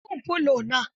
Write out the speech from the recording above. Wanke min fulo na.